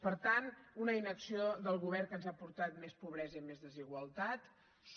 per tant una inacció del govern que ens ha portat més pobresa i més desigualtats